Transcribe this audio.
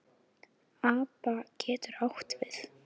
APA getur átt við